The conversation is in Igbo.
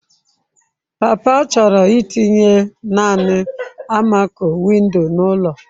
Papa chọrọ itinye naanị almaco-window n'ụlọ.